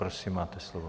Prosím, máte slovo.